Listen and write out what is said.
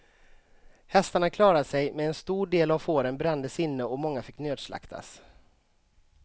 Hästarna klarade sig men en stor del av fåren brändes inne och många fick nödslaktas.